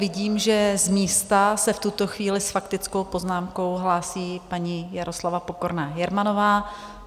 Vidím, že z místa se v tuto chvíli s faktickou poznámkou hlásí paní Jaroslava Pokorná Jermanová.